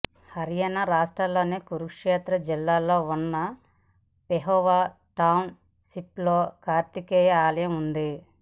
హర్యానా రాష్ట్రంలోని కురుక్షేత్ర జిల్లాలో ఉన్న పెహోవా టౌన్ షిప్ లో కార్తికేయ ఆలయం ఉంది